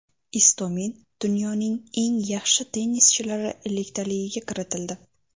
Istomin dunyoning eng yaxshi tennischilari elliktaligiga kiritildi.